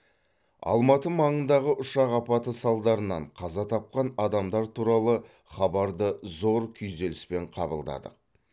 алматы маңындағы ұшақ апаты салдарынан қаза тапқан адамдар туралы хабарды зор күйзеліспен қабылдадық